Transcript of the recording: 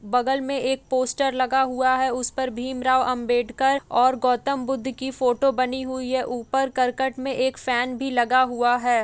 बगल में एक पोस्टर लगा हुआ है उस पर भीम राव अंबेडकर और गौतम बुद्ध की फ़ोटो बनी हुई है ऊपर कर्कट में एक फैन भी लगा हुआ है।